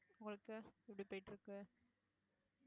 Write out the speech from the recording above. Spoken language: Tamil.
உங்களுக்கு எப்படி போயிட்டு இருக்கு